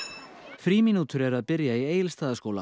frímínútur eru að byrja í Egilsstaðaskóla